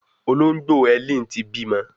Ológbò Helen tí bímọ.